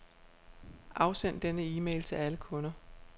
Afsend denne e-mail til alle kunder.